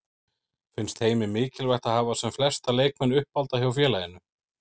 Finnst Heimi mikilvægt að hafa sem flesta leikmenn uppalda hjá félaginu?